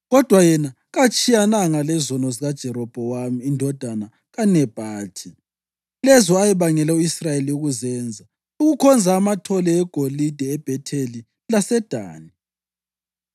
Kodwa, yena katshiyananga lezono zikaJerobhowamu indodana kaNebhathi, lezo ayebangele u-Israyeli ukuzenza, ukukhonza amathole egolide eBhetheli laseDani.